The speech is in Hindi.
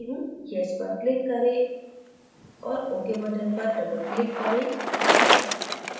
yes पर click करें और ok button पर double click करें